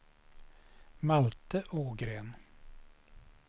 Malte Ågren